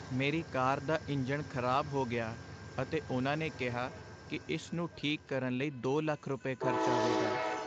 ਮੇਰੀ ਕਾਰ ਦਾ ਇੰਜਣ ਖ਼ਰਾਬ ਹੋ ਗਿਆ ਅਤੇ ਉਨ੍ਹਾਂ ਨੇ ਕਿਹਾ ਕੀ ਇਸ ਨੂੰ ਠੀਕ ਕਰਨ ਲਈ ਦੋ ਲੱਖ ਰੁਪਏ, ਖ਼ਰਚ ਆਵੇਗਾ